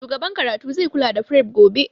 Shugaban karatu zai kula da fref gobe